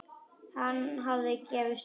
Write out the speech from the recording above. Hann hafði gefist upp.